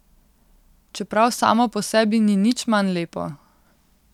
Čeprav samo po sebi ni nič manj lepo.